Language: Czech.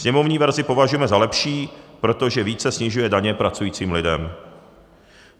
Sněmovní verzi považujeme za lepší, protože více snižuje daně pracujícím lidem.